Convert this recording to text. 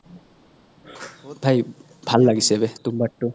ভাল লাগিছে বে তুম্বাদ তো